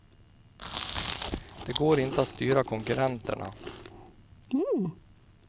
Det går inte att styra konkurrenterna.